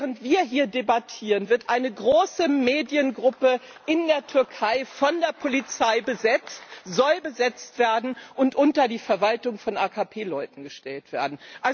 Während wir hier debattieren, wird eine große Mediengruppe in der Türkei von der Polizei besetzt, sie soll besetzt werden und unter die Verwaltung von AKP Leuten gestellt werden.